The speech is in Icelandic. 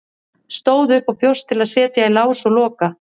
Stóð upp og bjóst til að setja í lás og loka.